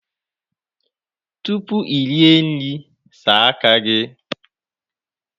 Tupu ị rie nri, saa aka gị!